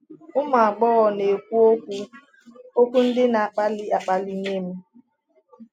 Ụmụ agbọghọ na-ekwu okwu okwu ndị na-akpali akpali nye m.